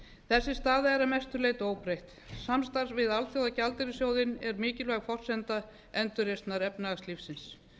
þessi staða er að mestu leyti óbreytt samstarf við alþjóðagjaldeyrissjóðinn er mikilvæg forsenda endurreisnar efnahagslífsins það